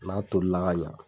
N'a toola ka ɲa